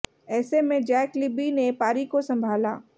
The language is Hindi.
ऐसे में जैक लिब्बी ने पारी को संभाला